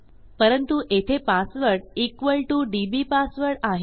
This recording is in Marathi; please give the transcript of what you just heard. परंतु येथे पासवर्ड इक्वॉल टीओ डीबीपासवर्ड आहे